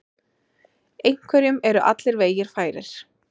Einhverjum eru allir vegir færir